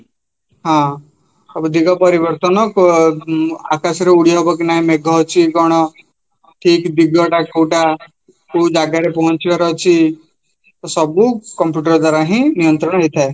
ହଁ ଦିଗ ପରିବର୍ତନ ଆକାଶରେ ଉଦିହବନିକି ନାହିଁ ମେଘ ଅଛି କ'ଣ ଠିକ ଦିଗଟା କୋଉଟା କଉଜାଗରେ ପହଁଚିବାର ଅଛି, ସବୁ computer ଦ୍ଵାରାହିଁ ନିଅନ୍ତ୍ରଣା ହେଇଥାଏ